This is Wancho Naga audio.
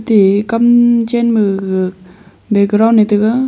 e kam chen ma gaga background e tega.